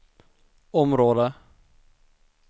område